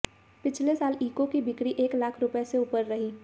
पिछले साल ईको की बिक्री एक लाख इकाई से ऊपर रही